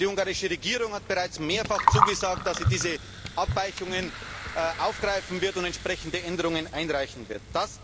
Die ungarische Regierung hat bereits mehrfach zugesagt, dass sie diese Abweichungen aufgreifen und entsprechende Änderungen einreichen wird.